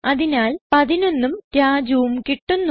അതിനാൽ 11ഉം Rajuഉം കിട്ടുന്നു